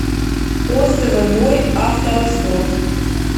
отзывы мой авторазбор